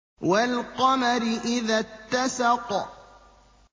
وَالْقَمَرِ إِذَا اتَّسَقَ